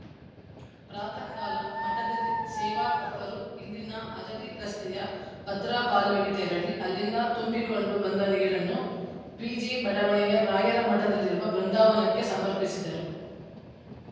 ಪ್ರಾಥಃಕಾಲ ಮಠದಲ್ಲಿ ಸೇವಾಕರ್ತರು ಇಲ್ಲಿನ ಹದಡಿ ರಸ್ತೆಯ ಭದ್ರಾ ಕಾಲುವೆಗೆ ತೆರಳಿ ಅಲ್ಲಿಂದ ತುಂಬಿಕೊಂಡು ಬಂದ ನೀರನ್ನು ಪಿಜೆ ಬಡಾವಣೆಯ ರಾಯರ ಮಠದಲ್ಲಿರುವ ಬೃಂದಾವನಕ್ಕೆ ಸಮರ್ಪಿಸಿದರು